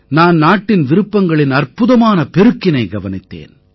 நான் நாட்டின் விருப்பங்களின் அற்புதமான பெருக்கினைக் கவனித்தேன்